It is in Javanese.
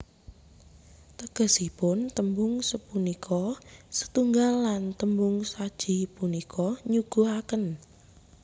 Tegesipun tembung se punika setunggal lan tembung saji punika nyuguhaken